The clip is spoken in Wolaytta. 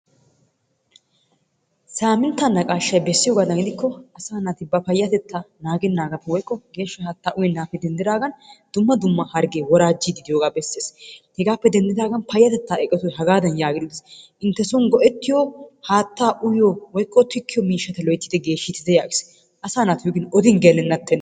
Saminttaa naqashshay bessiyoogadan gidikko asaa naati ba geshshatettaa naagenaagappe denddidaagan woykko geeshsha haattaa uyyenaagappe denddigaan dumma dumma hagee woraajjidi de'iyoogaa beesses. Hegaappe denddidaagan payattetaa eqotay hagaadan yaagidi biis. intte soon uyiyoo woykko haattaa tikkiyoo mishshata loyttidi geeshshite yaagiis. Asaa naatussi odin gelenna tenee.